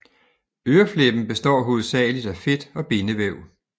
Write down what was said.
Øreflippen består hovedsageligt af fedt og bindevæv